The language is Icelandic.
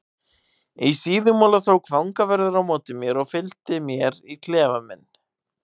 Í Síðumúla tók fangavörður á móti mér og fylgdi mér í klefa minn.